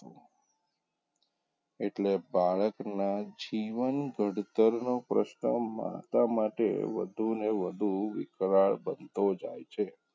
એટલે બાળકનાં જીવન ઘડતરનો પ્રશ્ન માતા માટે વધુ ને વધુ વિકરાળ બનતો જાય છે.